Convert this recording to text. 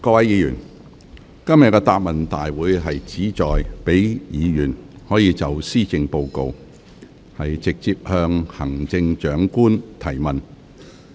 各位議員，今天的答問會旨在讓議員可就施政報告，直接向行政長官提問。